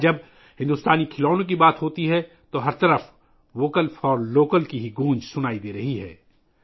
آج جب بھارتی کھلونوں کی بات آتی ہے تو ہر طرف ووکل فار لوکل کی گونج سنائی دے رہی ہے